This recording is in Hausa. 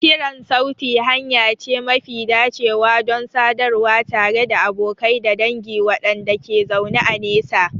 Kiran sauti hanya ce mafi dacewa don sadarwa tare da abokai da dangi waɗanda ke zaune a nesa.